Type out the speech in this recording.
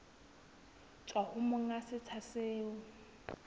tswa ho monga setsha seo